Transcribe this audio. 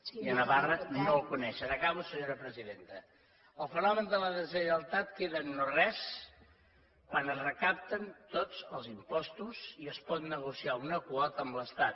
i a navarra no el coneixen acabo senyor presidenta el fenomen de la deslleialtat queda en no res quan es recapten tots els impostos i es pot negociar una quota amb l’estat